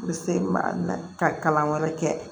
U bɛ se ka na ka kalan wɛrɛ kɛ